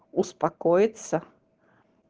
успокоиться